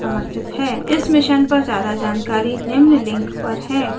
इस मिशन पर ज्यादा जानकारी निम्न लिंक पर है: spokentutorialorg/nmeictintro